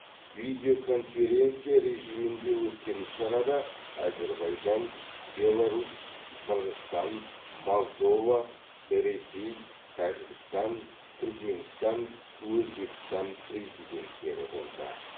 видео конференция режимінде өткен іс шарада әзербайжан беларусь қырғызстан молдова ресей тәжікстан түрікменстан өзбекстан президенттері болды